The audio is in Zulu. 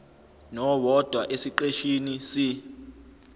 nowodwa esiqeshini c